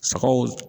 Sagaw